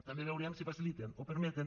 també veurem si faciliten o permeten